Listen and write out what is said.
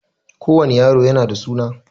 Ko wani yaro yana da suna